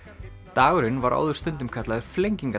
dagurinn var áður stundum kallaður